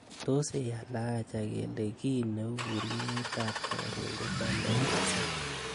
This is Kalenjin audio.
tos ei ala aja kele kii neu burgeiyet ab korun ko lole missing